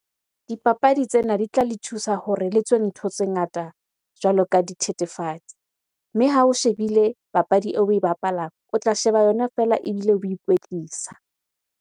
Dipapadi tsena di tla le thusa hore le tswe ntho tse ngata jwalo ka dithethefatsi. Mme ha o shebile papadi eo oe bapalang, o tla sheba yona feela ebile o ikwetlisa.